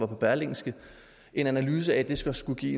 berlingske en analyse af at det skulle give